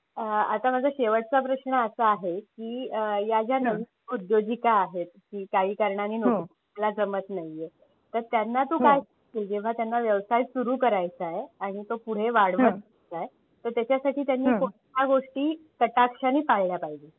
आता माझा शेवटचा प्रश्न असा आहे की या ज्या नवीन उद्योजिका आहेत की काही कारणांनी ह्यांना जमत नाहीये तर त्यांना तू काय जेव्हा त्यांना व्यवसाय सुरू करायचा आहे.